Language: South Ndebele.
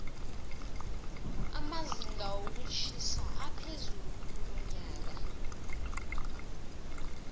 amazinga wokutjhisa aphezulu kulonyoka